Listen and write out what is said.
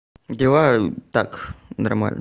дела так нормально